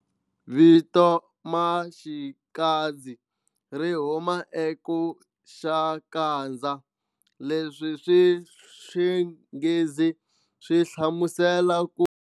Vito Maxikadzi ri huma eku xakadza leswi swi swinghizi swi hlamuselaka ku.